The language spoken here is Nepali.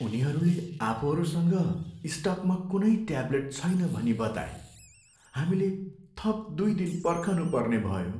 उनीहरूले आफूहरूसँग स्टकमा कुनै ट्याब्लेट छैन भनी बताए। हामीले थप दुई दिन पर्खनुपर्ने भयो।